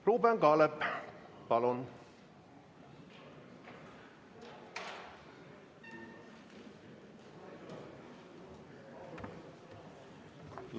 Ruuben Kaalep, palun!